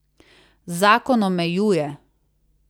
Zakon omejuje!